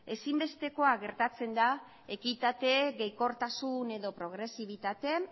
ezinbestekoa geratzen da ekitate gehikortasun edo progresibitate